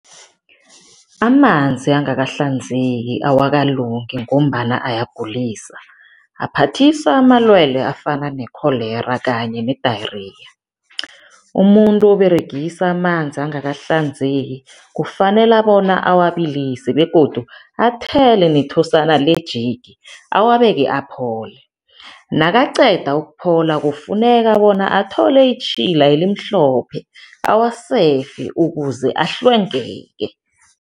Amanzi angakahlanzeki awakalungi ngombana ayagulisa. Aphathisa amalwelwe afana ne-cholera kanye ne-diarrhoea. Umuntu oberegisa amanzi angakahlanzeki kufanele bona awabilise begodu athele nethosana le-Jik, awabeke, aphole, nakaqeda ukuphola kufuneka bona athole itjhila elimhlophe, awasefe ukuze ahlwengeke.